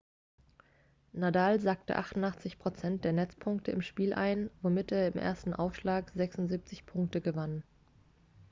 nadal sackte 88% der netzpunkte im spiel ein womit er im ersten aufschlag 76 punkte gewann